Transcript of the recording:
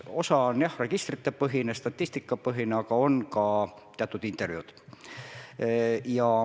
Osa on registri- ja statistikapõhine, aga on ka teatud intervjuud.